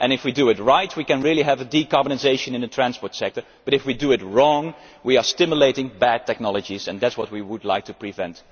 If we do it right we can really have decarbonisation in the transport sector, but if we do it wrong we are stimulating bad technologies and that is what we would like to prevent.